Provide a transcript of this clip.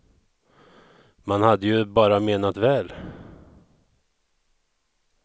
Man hade ju bara menat väl.